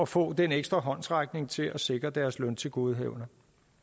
få den ekstra håndsrækning til at sikre deres løntilgodehavende